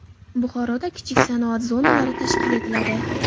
Buxoroda kichik sanoat zonalari tashkil etiladi.